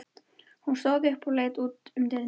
Hún stóð upp og leit út um dyrnar.